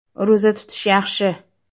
Ro‘za tutish yaxshi.